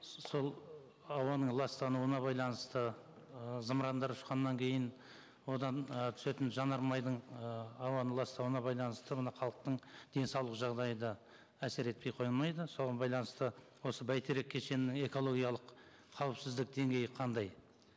сол ауаның ластануына байланысты ы зымырандар ұшқаннан кейін одан ы түсетін жанармайдың ы ауаны ластауына байланысты мына халықтың денсаулық жағдайы да әсер етпей қоймайды соған байланысты осы бәйтерек кешенінің экологиялық қауіпсіздік деңгейі қандай